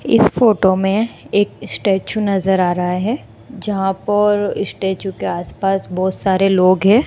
इस फोटो में एक स्टैचू नजर आ रहा है जहां पर स्टैचू के आसपास बहोत सारे लोग हैं।